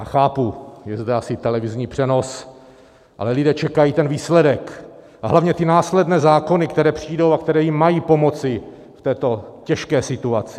A chápu, je zde asi televizní přenos, ale lidé čekají ten výsledek a hlavně ty následné zákony, které přijdou a které jim mají pomoci v této těžké situaci.